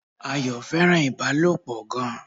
Ayọ̀ fẹ́ràn Ìbálòpọ̀ gan